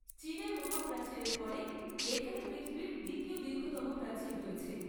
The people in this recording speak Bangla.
চীনের মহাপ্রাচীরের পরে এখানে পৃথিবীর দ্বিতীয় দীর্ঘতম প্রাচীর রয়েছে।